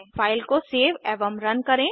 file को save एवं run करें